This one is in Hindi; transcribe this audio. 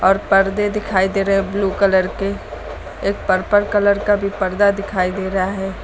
पर्दे दिखाई दे रहे ब्लू कलर के एक पर्पल कलर का भी पर्दा दिखाई दे रहा है।